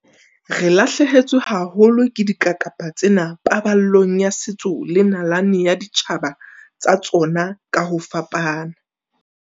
Re lahlehetswe haholo ke dikakapa tsena paballong ya setso le nalane ya ditjhaba tsa tsona ka ho fapana.